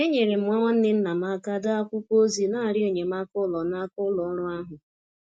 Enyere m nwa nwanne nna m aka dee akwụkwọ ozi n'arịọ enyemaka ụlọ n'aka ụlọ ọrụ ahụ.